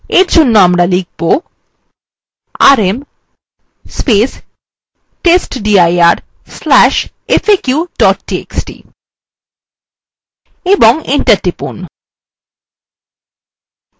আমরা for জন্য লিখব